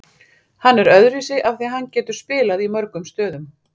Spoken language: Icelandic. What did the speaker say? Hann er öðruvísi af því að hann getur spilað í mörgum stöðum.